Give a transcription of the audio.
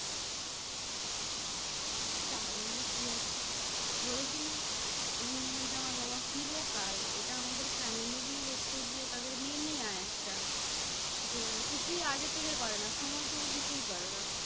তাহলে কি আছে? বলেছি না? end movement এ আমার বাবা চিরকাল এটা আমাদের family র ই হচ্ছে গিয়ে তাদের mania একটা। যে কিছুই আগে থেকে করে না। সময় থেকে কিছুই করে না।